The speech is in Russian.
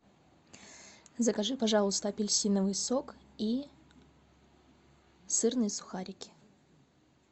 закажи пожалуйста апельсиновый сок и сырные сухарики